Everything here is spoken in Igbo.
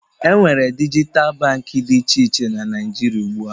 Enwere dijital Baankị dị iche na Naijiria ugbua